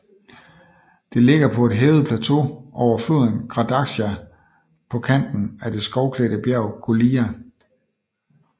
Det ligger på et hævet plateau over floden Gradačka på kanten af det skovklædte bjerg Golija